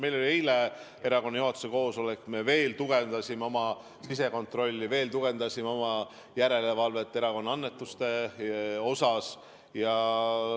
Meil oli eile erakonna juhatuse koosolek, me veel tugevdasime oma sisekontrolli, veel tugevdasime oma järelevalvet annetuste üle.